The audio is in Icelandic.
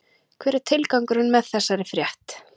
Hver er tilgangurinn með þessari frétt?